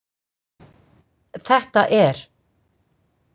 Þetta er.